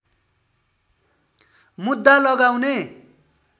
मुद्दा लगाउने